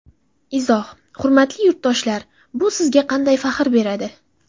Izoh: Hurmatli yurtdoshlar, bu bizga qanday faxr beradi?